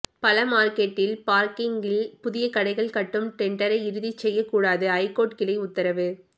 பழ மார்க்கெட்டில் பார்க்கிங்கில் புதிய கடைகள் கட்டும் டெண்டரை இறுதி செய்யக் கூடாது ஐகோர்ட் கிளை உத்தரவு